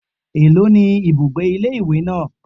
Èló ni ibùgbé ilé ìwé náà?